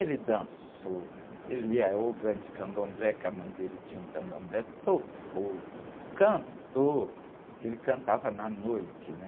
Ele dançou, ele é ogã candomblé, que a mãe dele tinha um candomblé, tocou, cantou, que ele cantava na noite, né?